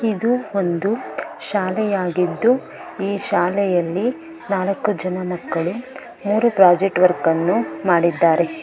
ಇದು ಒಂದು ಶಾಲೆಯಾಗಿದ್ದು ಈ ಶಾಲೆಯಲ್ಲಿ ನಾಲಕ್ಕು ಜನ ಮಕ್ಕಳು ಮೂರು ಪ್ರಾಜೆಕ್ಟ್ ವರ್ಕ್ ಅನ್ನು ಮಾಡಿದ್ದಾರೆ.